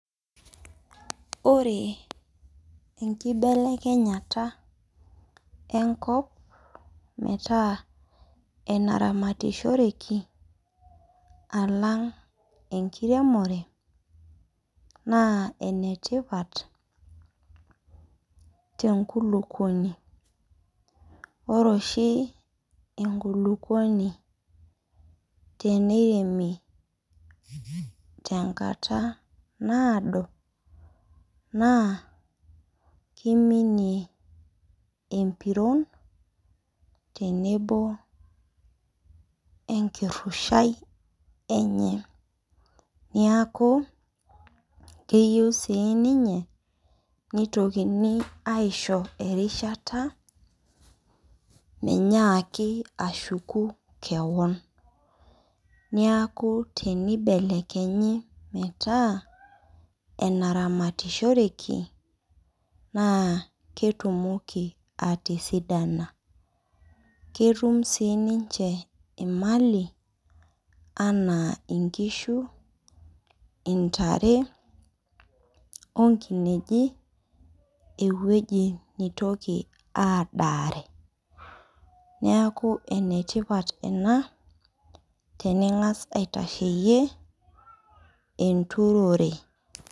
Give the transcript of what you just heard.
Ore enkibelekenyata enkop metaa enaramatishoreki, alang' enkiremore, naa enetipat te nkulukuoni. Ore oshi enkulukuoni teneiremi tenkata naado, naa kiminie empiron tenebo enkirrushai enye. Niaku, keyieu si ninye nitokini aisho erishata, menyaaki ashuku kewon. Niaku tenibelekenyi metaa enaramatishoreki, naa ketumoki atisidana. Ketum sininche imali anaa inkishu, intare, onkinejik ewueji nitoki adaare. Niaku enetipat ena, tening'as aitasheyie enturore.